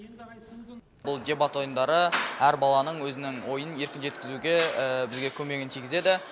бұл дебат ойындары әр баланың өзінің ойын еркін жеткізуге бізге көмегін тигізеді